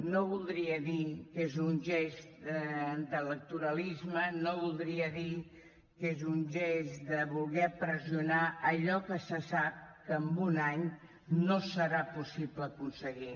no voldria dir que és un gest d’electoralisme no voldria dir que és un gest de voler pressionar allò que se sap que en un any no serà possible aconseguir